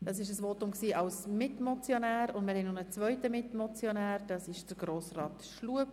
Das Wort hat der zweite Mitmotionär, Grossrat Schlup.